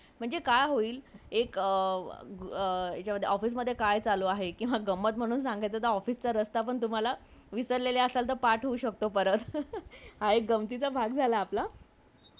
औषधे आणि सौंदर्य प्रसाधने इत्यादी उत्पादनांचा परिणाम मानवी